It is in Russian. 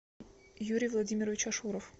юрий владимирович ашуров